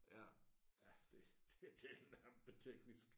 Ja det det den er teknisk